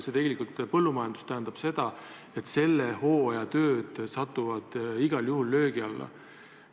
Põllumajanduses tähendab see seda, et selle hooaja tööd satuvad igal juhul löögi alla.